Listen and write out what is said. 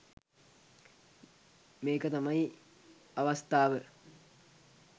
මේක තමයි අවස්ථාව